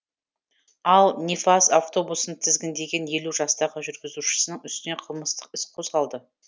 ал нефаз автобусын тізгіндеген елу жастағы жүргізушісінің үстінен қылмыстық іс қозғалды